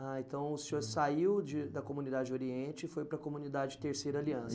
Ah, então o senhor saiu de da comunidade oriente e foi para a comunidade Terceira Aliança.